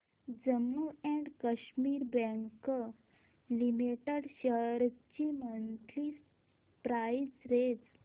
Jammu and Kashmir bank limited shares ची monthly price range